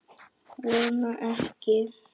Vona ekki.